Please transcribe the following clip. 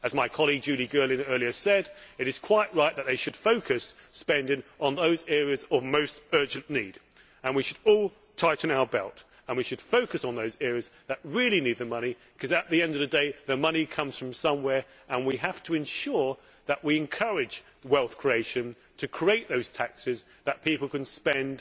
As my colleague Julie Girling said earlier, it is quite right that they should focus spending on those areas of most urgent need. We should all tighten our belts and we should focus on those areas that really need the money because, at the end of the day, the money comes from somewhere and we have to ensure that we encourage wealth creation to create those taxes that people can spend